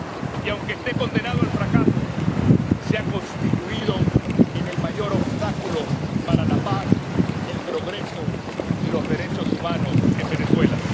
Y aunque esté condenado al fracaso, se ha constituido en el mayor obstáculo para la paz, el progreso y los derechos humanos en Venezuela.